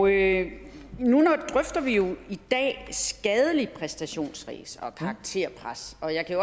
i dag skadeligt præstationsræs og karakterpres og jeg kan